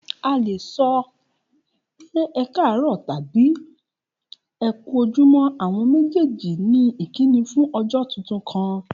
A le sọ ti ẹ káàrọ́ọ̀ tabi ẹ ku ojumo, awọn mejeeji ni ikini fun ọjọ titun kan